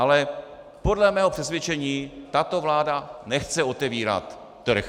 Ale podle mého přesvědčení tato vláda nechce otevírat trh.